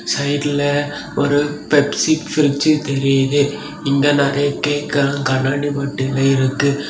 சைட்ல ஒரு Pepsi fridge தெரியிது இங்க நெறைய கேக்லாம் கண்ணாடி பாட்டில இருக்கு.